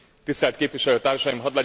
Tisztelt Képviselőtársaim!